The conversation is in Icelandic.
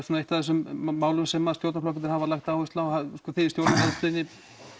svona eitt af þeim málum sem stjórnarflokkarnir hafa lagt áherslu á og þið í stjórnarandstöðunni